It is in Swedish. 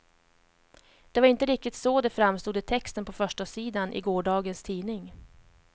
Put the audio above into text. Det var inte riktigt så det framstod i texten på förstasidan i gårdagens tidning.